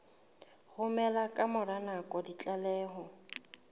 romela ka mora nako ditlaleho